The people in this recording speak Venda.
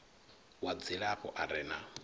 wa dzilafho a re na